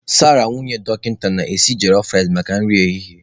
Sarah nwunye dọkịta na-esi jolof ricei maka nri ehihie.